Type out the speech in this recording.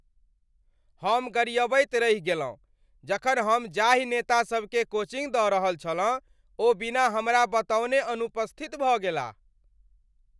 हम गरिअबैत रहि गेलहुँ जखन हम जाहि नेतासभकेँ कोचिङ्ग दऽ रहल छलहुँ ओ बिना हमरा बतओने अनुपस्थित भऽ गेलाह।